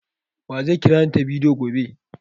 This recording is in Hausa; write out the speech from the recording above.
Wa zai kirani ta bidiyo gobe?